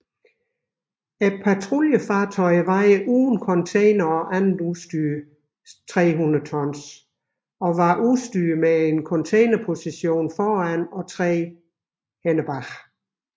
Patruljefartøjerne vejer uden containere og andet udstyr 300 tons og var udstyret med en containerposition foran og tre agter